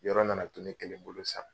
Yɔrɔ nana to ne kelen bolo san.